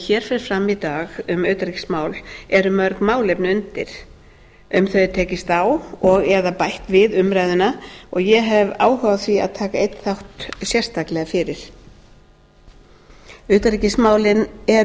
hér fer fram í dag um utanríkismál eru mörg málefni undir um þau er tekist á og eða bætt við umræðuna og ég hef áhuga á því að taka einn þátt sérstaklega fyrir utanríkismálin eru